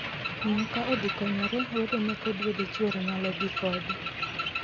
Miyo ka odhi konyore, wedene kod wede chwore nyalo dhii kode.